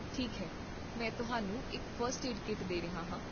ਠੀਕ ਹੈ, ਮੈਂ ਤੁਹਾਨੂੰ ਇੱਕ ਫਸਟ ਏਡ ਕਿੱਟ ਦੇ ਰਿਹਾ ਹਾਂ